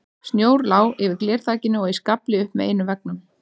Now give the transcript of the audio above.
Snjór lá yfir glerþakinu og í skafli upp með einum veggnum.